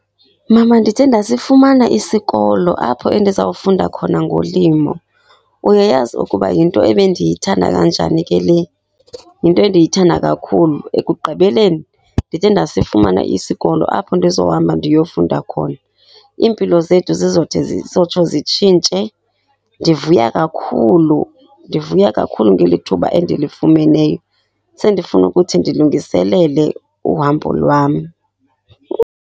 Mama, ndide ndasifumana isikolo apho endizawufunda khona ngolimo. Uyayazi ukuba yinto ebendiyithanda kanjani ke le? Yinto endiyithanda kakhulu. Ekugqibeleni ndide ndasifumana isikolo apho ndizohamba ndiyofunda khona. Iimpilo zethu zizode zotsho zitshintshe. Ndivuya kakhulu, ndivuya kakhulu ngeli thuba endilifumeneyo. Sendifuna ukuthi ndilungiselele uhambo lwam.